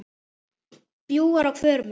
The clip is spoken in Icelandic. bjúgur á hvörmum